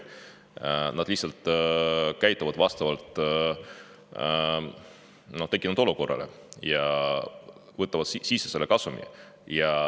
Nad lihtsalt käituvad vastavalt tekkinud olukorrale ja võtavad sisse selle kasumi.